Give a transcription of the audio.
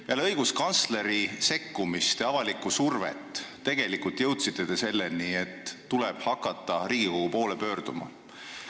Peale õiguskantsleri sekkumist ja avalikku survet jõudsite te selleni, et tuleb hakata Riigikogu poole pöörduma.